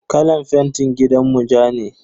Kalan fentin gidanmu ja ne.